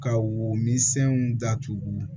Ka wo min senw datugu